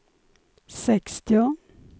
sextio